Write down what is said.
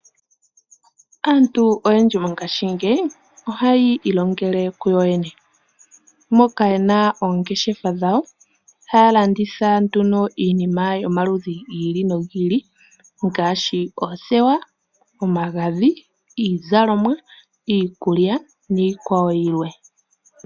Aantu oyendji mongashingeyi ohayi ilongele kuyo yene. Moka yena oongeshefa dhawo haya landitha iinima yomaludhi giili nogiili ngaashi oothewa, omagadhi, iizalomwa, iikulya niikwawo yilwe.